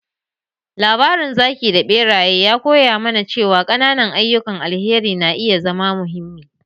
Labarin zaki da beraye ya koya mana cewa ƙananan ayyukan alheri na iya zama muhimmi.